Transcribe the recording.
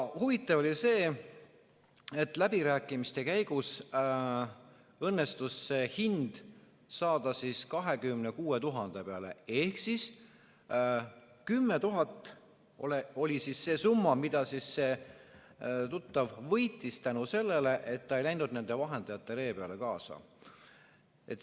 Huvitav oli see, et läbirääkimiste käigus õnnestus hind saada 26 000 peale, ehk see summa oli 10 000, mis see tuttav võitis tänu sellele, et ta ei läinud nende vahendajate ree peale.